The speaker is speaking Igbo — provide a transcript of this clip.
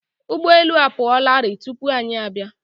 Ụgbọ elu apụ ọ la rii tụpụ anyị abịa.